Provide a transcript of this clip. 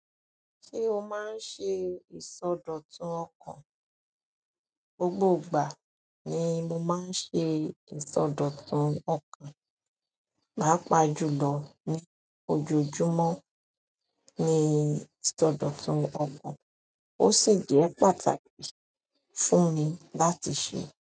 Ṣé o máa ń ṣe ìsọdọ̀tun ọkàn? Gbogbo ìgbà ni mo máa ń ṣe ìsọdọ̀tun ọkàn, pàápàá jùlọ ní ojojúmọ́ ní ìsọdọ̀tun ọkàn, ó sì jẹ́ pàtàkì fún mi láti ṣe.